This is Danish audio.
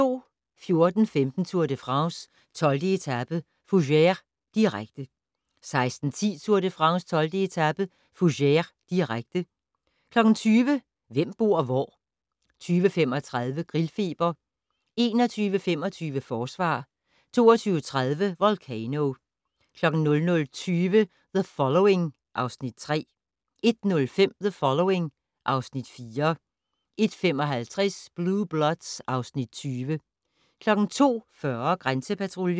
14:15: Tour de France: 12. etape - Fougères, direkte 16:10: Tour de France: 12. etape - Fougères, direkte 20:00: Hvem bor hvor? 20:35: Grillfeber 21:25: Forsvar 22:30: Volcano 00:20: The Following (Afs. 3) 01:05: The Following (Afs. 4) 01:55: Blue Bloods (Afs. 20) 02:40: Grænsepatruljen